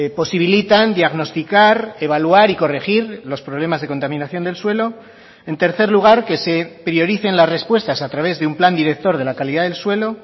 posibilitan diagnosticar evaluar y corregir los problemas de contaminación del suelo en tercer lugar que se prioricen las respuestas a través de un plan director de la calidad del suelo